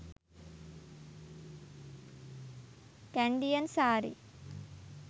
kandyan saree